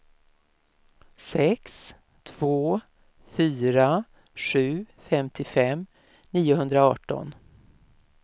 sex två fyra sju femtiofem niohundraarton